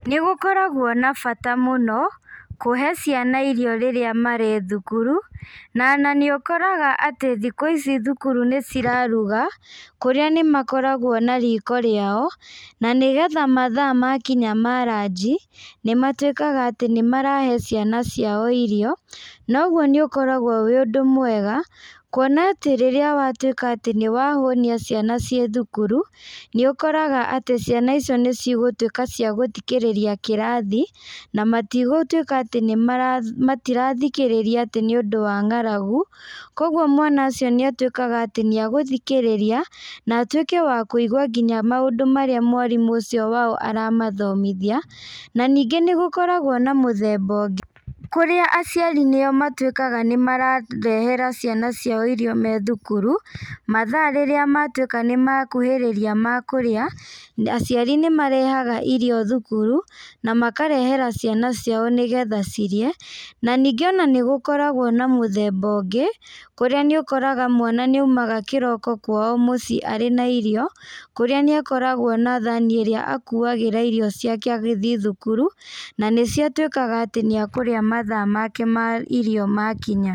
Nĩgũkoragwo na bata mũno, kuhe ciana irio rĩrĩa marĩ thukuru, na ona nĩũkoraga atĩ thikũ ici thukuru nĩciraruga, kũrĩa nĩmakoragwo na riko rĩao, na nĩgetha mathaa makinya ma ranji, nĩmatuĩkaga atĩ nĩmarahe ciana ciao irio, noguo nĩũkoragwo wĩ ũndũ mwega, kuona atĩ rĩrĩa watuĩka atĩ nĩwahũnia ciana ciĩ thukuru, nĩũkoraga atĩ ciana icio nĩcigũtuĩka cia gũthikĩrĩria kĩrathi, na matigũtuĩka atĩ nĩmara, matirathikĩrĩria atĩ nĩũndũ wa ng'aragu, koguo mwana ũcio nĩatuĩkaga atĩ nĩegũthikĩrĩria na atuĩke wa kũigua nginya maũndũ marĩa mwarimũ ũcio wao aramathomithia, na ningĩ nĩgũkoragwo na mũthemba ũngĩ kũrĩa aciari nĩ o matuĩkaga mararehera ciana ciao irio me thukuru, mathaa rĩrĩa matuĩka nĩmakuhĩrĩria ma kũrĩa, aciari nĩmarehaga irio thukuru, na makarehera ciana ciao nĩgetha cirĩe, na ningĩ ona nĩgũkoragwo na mũthemba ũngĩ, kũrĩa nĩ ũkoraga mwana nĩaumaga kĩroko kwao mũciĩ arĩ na irio, kũrĩa nĩakoragwo na thani ĩrĩa akuagĩra irio ciake agĩthiĩ thukuru, na nĩcio atuĩkaga atĩ nĩekũrĩa mathaa make ma irio makinya.